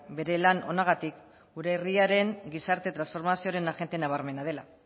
bere lan onagatik gure herriaren gizarte transformazioaren agente nabarmena dela